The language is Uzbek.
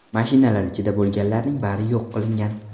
Mashinalar ichida bo‘lganlarning bari yo‘q qilingan.